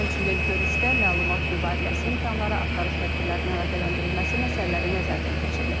Həmçinin görüşdə məlumat mübadiləsi, imkanları, axtarış tədbirlərinin əlaqələndirilməsi məsələləri nəzərdən keçirilib.